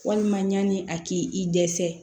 Walima ɲani a k'i i dɛsɛ